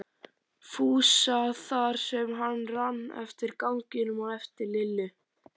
Fúsa þar sem hann rann eftir ganginum á eftir Lillu.